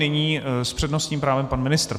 Nyní s přednostním právem pan ministr.